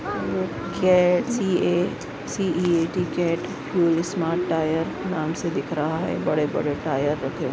cat CEAT C A T cat fuel smart tyre नाम से दिख रहा है बड़े-बड़े टायर रखे--